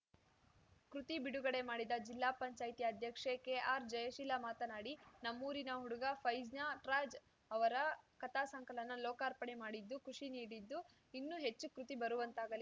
ಕೃತಿ ಬಿಡುಗಡೆ ಮಾಡಿದ ಜಿಲ್ಲಾ ಪಂಚಾಯತಿ ಅಧ್ಯಕ್ಷೆ ಕೆಆರ್‌ಜಯಶೀಲ ಮಾತನಾಡಿ ನಮ್ಮೂರಿನ ಹುಡುಗ ಫೈಜ್ನಟ್ರಾಜ್‌ ಅವರ ಕಥಾ ಸಂಕಲನ ಲೋಕಾರ್ಪಣೆ ಮಾಡಿದ್ದು ಖುಷಿ ನೀಡಿದ್ದು ಇನ್ನೂ ಹೆಚ್ಚು ಕೃತಿ ಬರುವಂತಾಗಲಿ